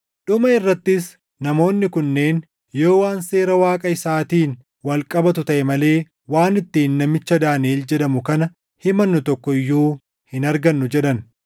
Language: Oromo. Dhuma irrattis namoonni kunneen, “Yoo waan seera Waaqa isaatiin wal qabatu taʼe malee waan ittiin namicha Daaniʼel jedhamu kana himannu tokko iyyuu hin argannu” jedhan.